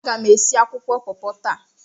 Aga m esi akwụkwọ pọpọ taa.